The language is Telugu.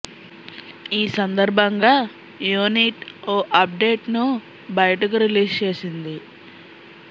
ఈ సందర్భంగా యూనిట్ ఓ అప్డేట్ ను బయటకు రిలీజ్ చేసింది